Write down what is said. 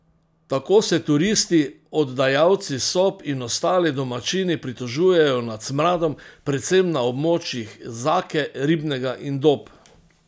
Tako se turisti, oddajalci sob in ostali domačini pritožujejo nad smradom, predvsem na območjih Zake, Ribnega in Dob.